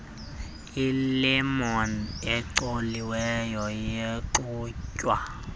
ilemon ecoliweyo yaxutywa